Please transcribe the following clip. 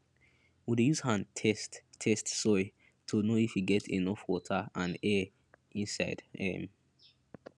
we dey use hand test test soil to know if e get enough water and air inside um